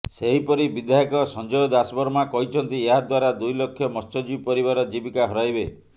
ସେହିପରି ବିଧାୟକ ସଂଜୟ ଦାସବର୍ମା କହିଛନ୍ତି ଏହା ଦ୍ୱାରା ଦୁଇ ଲକ୍ଷ ମତ୍ସ୍ୟଜୀବୀ ପରିବାର ଜୀବିକା ହରାଇବେ